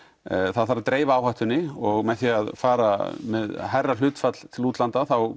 það þarf að dreifa áhættunni og með því að fara með hærra hlutfall til útlanda þá